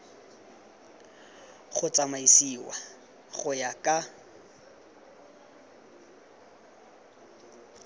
go tsamaisiwa go ya ka